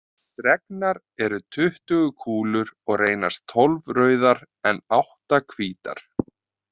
Dregnar eru tuttugu kúlur og reynast tólf rauðar en átta hvítar.